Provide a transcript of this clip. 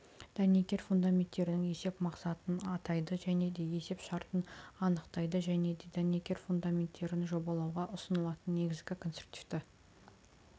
дәнекер фундаменттерінің есеп мақсатын атайды және де есеп шартын анықтайды және де дәнекер фундаменттерін жобалауға ұсынылатын негізгі конструктивті